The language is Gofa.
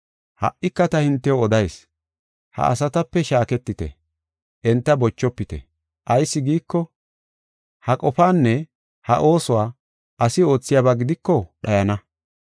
Ha77ika ta hintew odayis; ha asatape shaaketite; enta bochofite. Ayis giiko, ha qofaanne ha oosuwa asi oothiyaba gidiko dhayana.